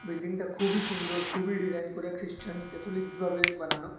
বিল্ডিংটা খুবই সুন্দর খুবই ডিজাইন করে ক্রিশ্চান ক্যাথলিক্সভাবে বানানো।